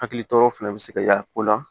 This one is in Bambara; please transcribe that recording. Hakili tɔɔrɔ fɛnɛ bɛ se ka y'a la ko la